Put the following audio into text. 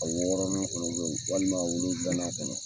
A wɔɔrɔnan fana bɛ yen walima wolonwulanan fana.